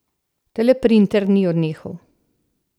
Teleprinter ni odnehal.